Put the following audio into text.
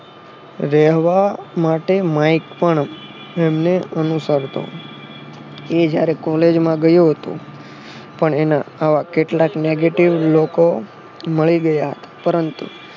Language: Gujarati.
રહેવા માટે માઈક પણ ને અનુસરતો એ જયારે કોલેજ માં ગયો હતો પણ એના આવા કેટલાક negative લોકો મળી ગયા પરંતુ